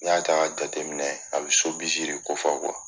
N'i y'a ta ka jateminɛ, a bi ko fɔ